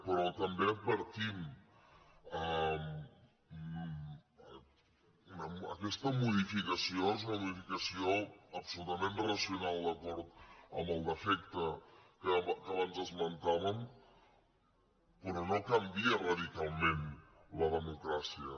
però també ho advertim aquesta modificació és una modificació absolutament racional d’acord amb el defecte que abans esmentàvem però no canvia radicalment la democràcia